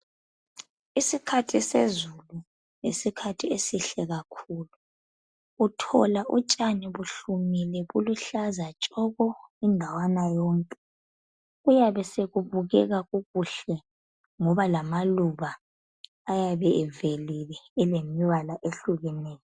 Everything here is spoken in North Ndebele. Isikhathi sezulu yisikhathi esihle kakhulu. Uthola utshani buhlumile kuluhlaza tshoko indawana yonke. Kuyabe sekubukeka kukuhle ngoba lamaluba ayabe evelile elemibala ehlukeneyo.